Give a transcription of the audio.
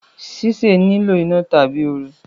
ṣíṣe nilo iná tàbí ooru